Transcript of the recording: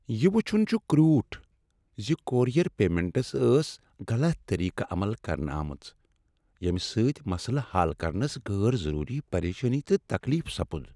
یہِ وُچھُن چھ کروٹھ ز کورئیر پیمنٹس ٲس غلط طریقہٕ عمل کرنہٕ آمٕژ ، ییٚمہ سۭتۍ مسلہٕ حل كرنس غیر ضروری پریشانی تہٕ تکلیف سپُد ۔